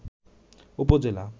উপজেলা